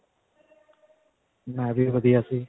ਮੈਂ ਵੀ ਵਧੀਆ ਸੀ.